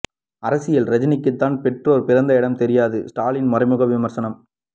அரசியல் ரஜினிக்கு தன் பெற்றோர் பிறந்த இடம் தெரியாது ஸ்டாலின் மறைமுக விமர்சனம்